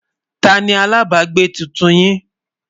tá ní alábágbé túntùn yín?